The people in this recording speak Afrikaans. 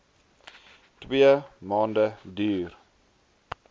twee maande duur